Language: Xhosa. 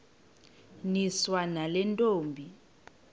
niswa nale ntombi